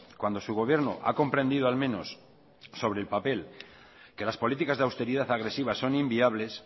cuando su gobierno ha comprendido al menos sobre el papel que las políticas de austeridad agresivas son inviables